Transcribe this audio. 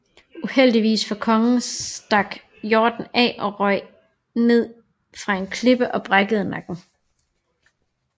Uheldigvis for kongen stak hjorten af og røg ned fra en klippe og brækkede nakken